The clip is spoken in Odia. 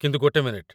କିନ୍ତୁ ଗୋଟେ ମିନିଟ୍।